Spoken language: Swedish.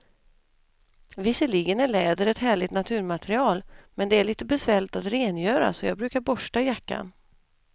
Visserligen är läder ett härligt naturmaterial, men det är lite besvärligt att rengöra, så jag brukar borsta jackan.